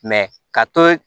ka to yen